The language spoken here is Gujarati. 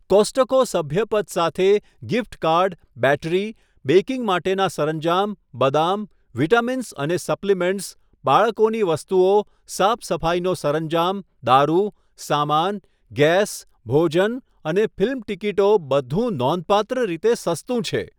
કોસ્ટ્કો સભ્યપદ સાથે ગિફ્ટ કાર્ડ, બૅટરી, બેકિંગ માટેના સરંજામ, બદામ, વિટામિન્સ અને સપ્લિમેન્ટ્સ, બાળકોની વસ્તુઓ, સાફ સફાઈનો સરંજામ, દારૂ, સામાન, ગેસ, ભોજન અને ફિલ્મ ટિકિટો બધું નોંધપાત્ર રીતે સસ્તું છે.